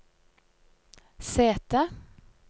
sete